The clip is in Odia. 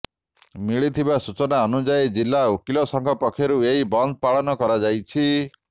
ମିଳିଥିବା ସୂଚନା ଅନୁଯାୟୀ ଜିଲ୍ଳା ଓକିଲ ସଂଘ ପକ୍ଷରୁ ଏହି ବନ୍ଦ ପାଳନ କରାଯାଉଛି